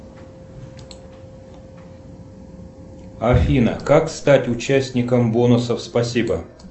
афина как стать участником бонусов спасибо